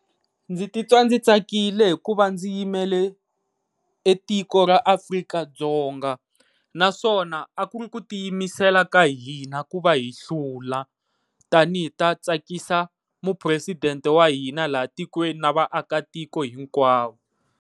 Ndzi titwa ndzi tsakile hikuva ndzi yimele tiko ra Afrika-Dzonga naswona a ku ri ku tiyimisela ka hina ku va hi hlula, tanihi ta tsakisa mupresidente wa hina laha tikweni na vaakatiko hinkwavo.